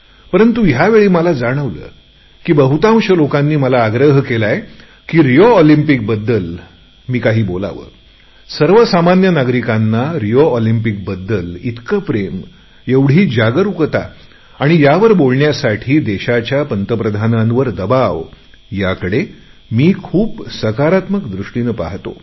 पंरतु यावेळी मला जाणवले की बहुतांश लोकांनी मला आग्रह केला की रिओ ऑलिंम्पिक संबंधात काही बोलावे सर्वसामान्य नागरिकांचे रिओ ऑलिंम्पिकच्या प्रति इतके प्रेम एवढी जागरुकता आणि यावर बोलण्यासाठी देशाच्या प्रधानमंत्र्याकडे आग्रह याकडे मी खूप सकारात्मक दृष्टीने पाहतो